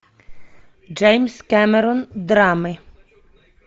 джеймс кэмерон драмы